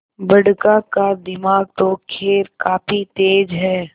बड़का का दिमाग तो खैर काफी तेज है